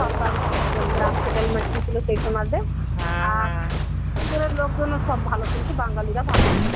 সরকার গ্রাম settlement দিয়েছিলো সেই সময়তে আর পাখান্জরের লোকজন সব ভালো কিন্তু বাঙালিরা ভালো না.